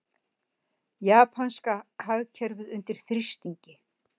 Japanska hagkerfið undir þrýstingi